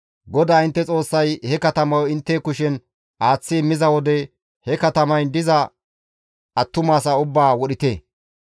GODAA intte Xoossay he katamayo intte kushen aaththi immiza wode he katamayn diza attumasaa ubbaa wodhite.